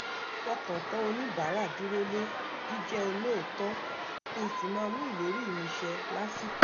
ìfọkàntán oníbàárà dúróle jíjẹ́ olóòótọ́ kí n sì máa mú ìlérí mi ṣẹ lásìkò